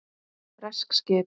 Bresk skip!